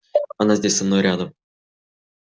она здесь со мной рядом